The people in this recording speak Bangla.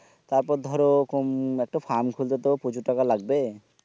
তারপর ধরো কোম একটা farm খুলতে তো প্রচুর টাকা লাগবে